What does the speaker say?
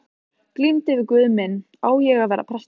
Glímdi við guð minn: Á ég að verða prestur?